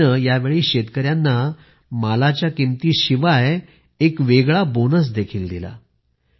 कंपनीने या वेळी शेतकऱ्यांना मालाच्या किमती शिवाय एक वेगळा बोनस देखील दिला